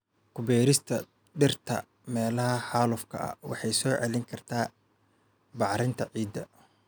Ku beerista dhirta meelaha xaalufka ah waxay soo celin kartaa bacrinta ciidda.